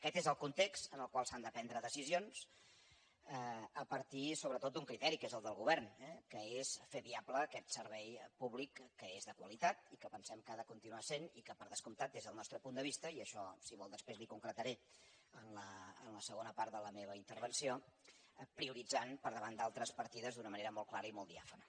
aquest és el context en el qual s’han de prendre decisi·ons a partir sobretot d’un criteri que és el del govern que és fer viable aquest servei públic que és de quali·tat i que pensem que ho ha de continuar sent i que per descomptat des del nostre punt de vista i això si ho vol després li ho concretaré en la segona part de la me·va intervenció prioritzant per davant d’altres partides d’una manera molt clara i molt diàfana